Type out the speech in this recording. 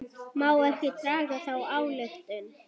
Má ekki draga þá ályktun?